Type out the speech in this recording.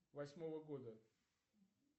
восьмого года